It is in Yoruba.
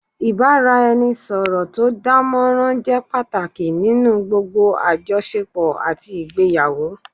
Ìbáraẹnisọ̀rọ̀ tó dánmọrán jẹ́ pàtàkì nínú gbogbo àjọṣepọ̀ àti ìgbéyàwó